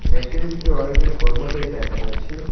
ফ্যাক্টরির ভিতরে অনেকগুলি কর্মচারী দেখা যাচ্ছে।